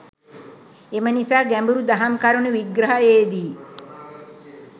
එම නිසා ගැඹුරු දහම් කරුනු විග්‍රහයේදී